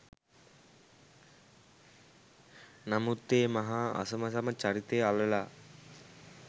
නමුත් ඒ මහා අසමසම චරිතය අලලා